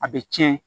A bɛ cɛn